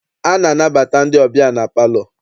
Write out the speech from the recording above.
A na-anabata ndị ọbịa na palọ.